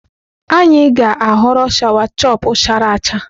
Anyị ga-aghọrọ sawachọpụ chara acha.